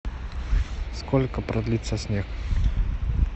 сколько продлится снег